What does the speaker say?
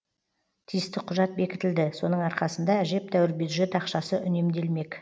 тиісті құжат бекітілді соның арқасында әжептәуір бюджет ақшасы үнемделмек